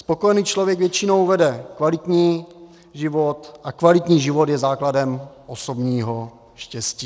Spokojený člověk většinou vede kvalitní život a kvalitní život je základem osobního štěstí.